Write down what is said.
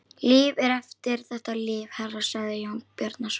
Líf er eftir þetta líf, herra, sagði Jón Bjarnason.